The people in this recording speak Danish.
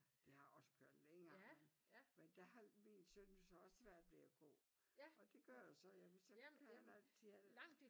De har også kørt længere før men der har min søn så også svært ved at gå og det gør jo så jeg vil så gerne at de havde